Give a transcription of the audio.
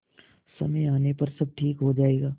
समय आने पर सब ठीक हो जाएगा